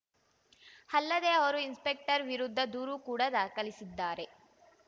ಅಲ್ಲದೆ ಅವರು ಇನ್‌ಸ್ಪೆಕ್ಟರ್‌ ವಿರುದ್ಧ ದೂರು ಕೂಡ ದಾಖಲಿಸಿದ್ದಾರೆ